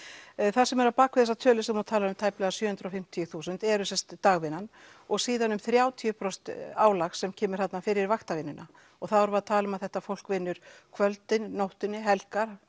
það sem er á bak við þessa tölu sem þú talar um tæpar sjö hundruð og fimmtíu þúsund eru sem sagt dagvinnan og síðan um þrjátíu prósent álag sem kemur þarna fyrir vaktavinnuna og þá erum við að tala um að þetta fólk vinnur kvöldin nóttunni helgar